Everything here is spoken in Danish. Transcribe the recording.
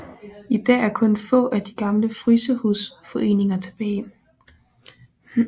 I dag er kun få af de gamle frysehusforeninger tilbage